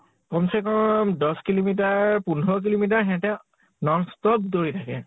কম চে কম দশ kilometer, পোন্ধৰ kilometer সিহঁতে non-stop দৌৰি থাকে ।